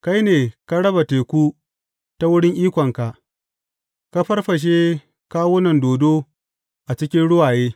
Kai ne ka raba teku ta wurin ikonka; ka farfashe kawunan dodo a cikin ruwaye.